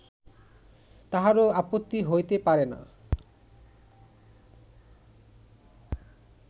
কাহারও আপত্তি হইতে পারে না